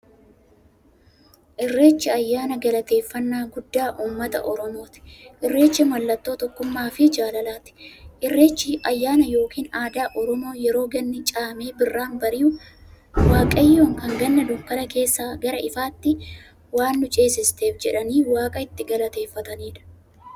Irreechi ayyaana galateeffnnaa guddaa ummata oromooti. Irreechi mallattoo tokkummaafi jaalalaati. Irreechi ayyaana yookiin aadaa Oromoo yeroo ganni caamee birraan bari'u, waaqayyoon kan Ganna dukkana keessaa gara ifaatti waan nu ceesifteef jedhanii waaqa itti galateeffataniidha.